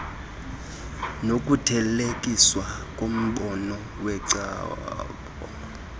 nokuthelekiswa kombono wecebo